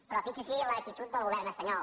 però fixi’s en l’actitud del govern espanyol